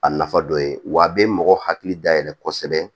A nafa dɔ ye wa a bɛ mɔgɔ hakili dayɛlɛ kosɛbɛ